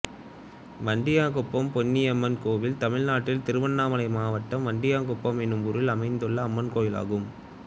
வண்டயாங்குப்பம் பொன்னியம்மன் கோயில் தமிழ்நாட்டில் திருவண்ணாமலை மாவட்டம் வண்டயாங்குப்பம் என்னும் ஊரில் அமைந்துள்ள அம்மன் கோயிலாகும்